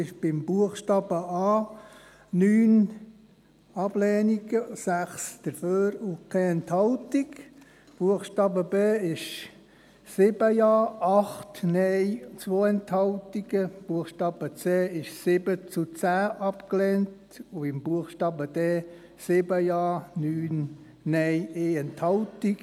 Bei Buchstabe a gab es 9 Ablehnungen gegen 6 Zustimmungen bei 0 Enthaltungen, bei Buchstabe b 8 Ablehnungen zu 7 Zustimmungen bei 2 Enthaltungen, bei Buchstabe c 10 Ablehnungen zu 7 Zustimmungen und bei Buchstabe d 9 Ablehnungen zu 7 Zustimmungen bei 1 Enthaltung.